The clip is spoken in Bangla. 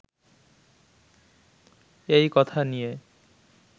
এই কথা নিয়ে